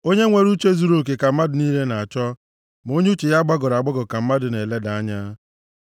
Onye nwere uche zuruoke ka mmadụ niile na-achọ, ma onye uche ya gbagọrọ agbagọ ka mmadụ na-eleda anya.